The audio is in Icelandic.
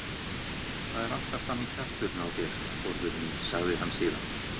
Það er alltaf sami kjafturinn á þér, Þórður minn sagði hann síðan.